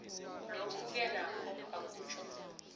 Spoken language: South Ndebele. lokhuke nokho akutjho